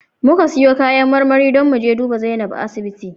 Muka siyo kayan marmari don mu je duba Zainab a asibiti